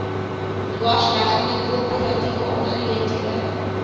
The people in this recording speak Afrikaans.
dwarsleggende korporatiewe aangeleenthede